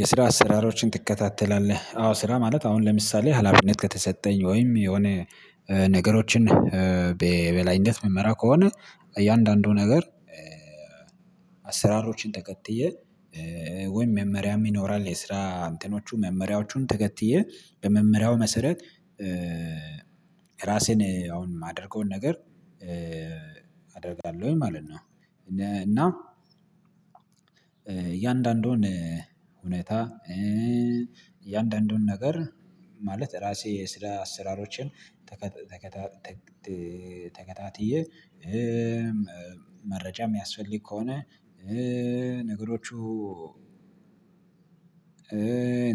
የስራ አሰራሮችን ትከታተላለህ አዎ ስራ ማለት አሁን ለምሳሌ ሀላፊነት ከተሰጠኝ ወይም የሆነ ነገሮችን በበላይነት ምመራ ከሆነ እያንዳንዱ ነገር አሰራሮችን ተከትዬ ወይም መመሪያም ይኖራል የስራ እንትኖቹ መመሪያዎቹን ተከትዬ በመመሪያው መሰረት ራሴን አሁን የማደርገውን ነገር አደርጋለሁኝ ማለት ነው። እና እያንዳንዱን እውነት እያንዳንዱን ነገር ማለት ራሴ ስራ አሰራሮችን ተከታትዬ መረጃ የሚያስፈልግ ከሆነ ነገሮቹ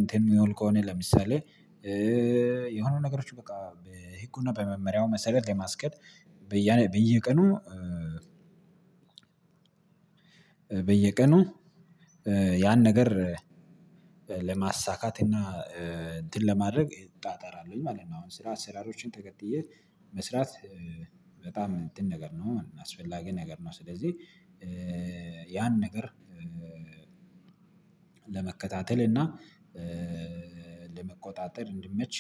እንትን የሚሆን ከሆነ ለምሳሌ የሆኑ ነገሮች በቃ በህጉ እና በመመሪያው መሰረት ለማስኬድ በየቀኑ ያን ነገር ለማሳካት እና እንትን ለማድረግ እጣጣራለሁኝ ማለት ነው። አሁን ስራ አሰራሮችን ተከትዬ መስራት በጣም እንትን ነገር ነው አስፈላጊ ነገር ነው። ስለዚህ ያን ነገር ለመከታተል እና ለመቆጣጠር እንዲመች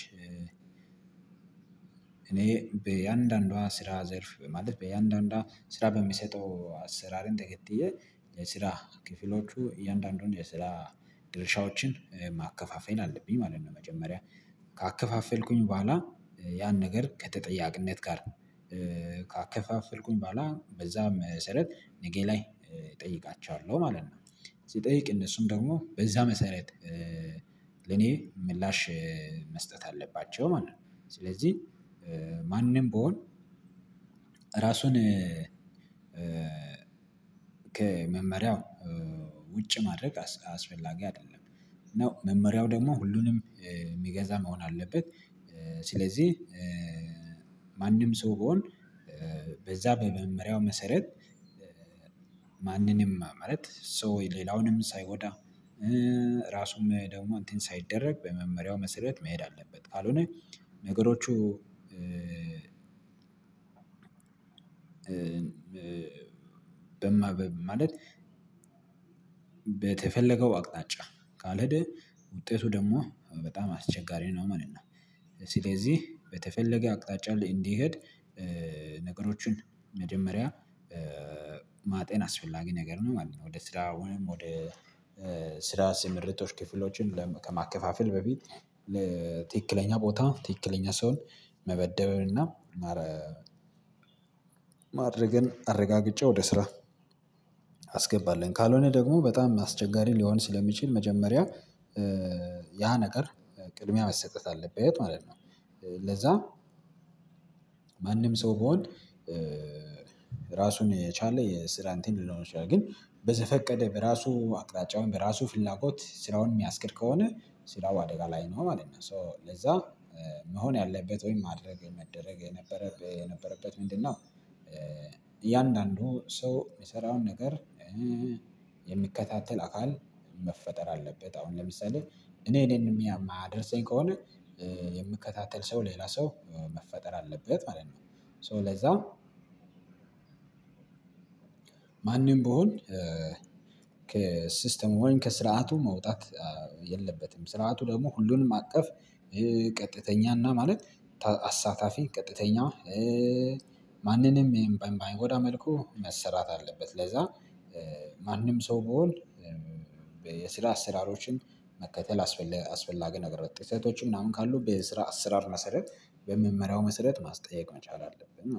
እኔ በየአንዳንዷ ስራ ዘርፍ በማለት በየአንዳንዷ ስራ በሚሰጠው አሰራርን ተከትዬ ስራ ክፍሎቹ እያንዳንዱን የስራ ድርሻዎችን ማከፋፈል አለብኝ ማለት ነው። መጀመሪያ ካከፋፈልኩኝ በኋላ ያን ነገር ከተጠያቂነት ጋር ካከፋፈልኩኝ በኋላ በዛ መሰረት ነገ ላይ እጠይቃቸዋለሁ ማለት ነው ስጠይቅ እነሱም ደግሞ በዛ መሰረት ለኔ ምላሽ መስጠት አለባቸው ማለት ነው። ስለዚህ ማንም ቢሆን እራሱን ከመመሪያው ውጭ ማድረግ አስፈላጊ አይደለም ነው መመሪያው ደግሞ ሁሉንም የሚገዛ መሆን አለበት። ስለዚህ ማንም ሰው ቢሆን በዛ በመመሪያው መሰረት ማንንም ማለት ሰው ሌላውንም ሳይጎዳ ራሱም ደግሞ እንትን ሳይደረግ በመመሪያው መሰረት መሄድ አለበት ካልሆነ ነገሮቹ ማለት በተፈለገው አቅጣጫ ካልሄድህ ውጤቱ ደግሞ በጣም አስቸጋሪ ነው ማለት ነው። ስለዚህ በተፈለገ አቅጣጫ ላይ እንዲሄድ ነገሮችን መጀመሪያ ማጤን አስፈላጊ ነገር ነው ማለት ነው። ወደ ስራ ወይም ወደ ስራ ስምሪቶች ክፍሎችን ከማከፋፈል በፊት ለትክክለኛ ቦታ ትክክለኛ ሰውን መመደብን እና ማድረግን አረጋግጬ ወደ ስራ አስገባለን ካልሆነ ደግሞ በጣም አስቸጋሪ ሊሆን ስለሚችል መጀመሪያ ያ ነገር ቅድሚያ መሰጠት አለበት ማለት ነው። ለዛ ማንም ሰው ቢሆን ራሱን የቻለ የስራ እንተን ሊኖረው ይችላል ግን በዘፈቀደ በራሱ አቅጣጫውን በራሱ ፍላጎት ስራውን የሚያስኬድ ከሆነ ስራው አደጋ ላይ ነው ማለት ነው። ሶ ለዛ መሆን ያለበት ወይ ማድረግ መደረግ የነበረ የነበረበት ምንድነው? እያንዳንዱ ሰው የሰራውን ነገር የሚከታተል አካል መፈጠር አለበት አሁን ለምሳሌ እኔ እኔን የማያደርሰኝ ከሆነ የሚከታተል ሰው ሌላ ሰው መፈጠር አለበት ማለት ነው። ሶ ለዛ ማንም ቢሆን ከሲስተሙ ወይም ከስርዓቱ መውጣት የለበትም ስርዓቱ ደግሞ ሁሉንም አቀፍ ቀጥተኛና ማለት አሳታፊ ቀጥተኛ ማንንም በማይጎዳ መልኩ መሰራት አለበት። ለዛ ማንም ሰው ቢሆን የስራ አሰራሮችን መከተል አስፈላጊ ነገር ጥሰቶች ምናምን ካሉ በስራ አሰራር መሰረት በመመሪያው መሰረት ማስጠየቅ መቻል አለብን